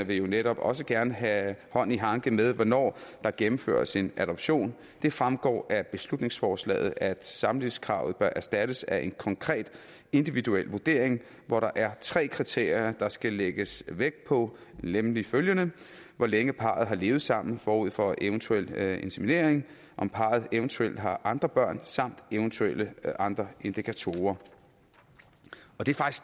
vil jo netop også gerne have hånd i hanke med hvornår der gennemføres en adoption det fremgår af beslutningsforslaget at samlivskravet bør erstattes af en konkret individuel vurdering hvor der er tre kriterier der skal lægges vægt på nemlig følgende hvor længe parret har levet sammen forud for eventuel inseminering om parret eventuelt har andre børn samt eventuelle andre indikatorer